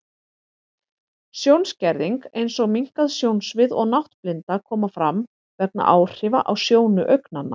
Sjónskerðing, eins og minnkað sjónsvið og náttblinda, koma fram vegna áhrifa á sjónu augnanna.